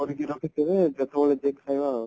କରିକି ରଖିଥିବେ ଯେତେବେଳେ ଯିଏ ଖାଇବେ ଆଉ